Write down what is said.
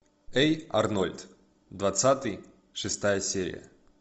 эй арнольд двадцатый шестая серия